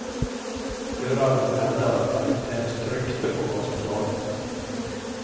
Föraren hävdar att han inte ens tryckte på gaspedalen.